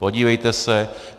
Podívejte se.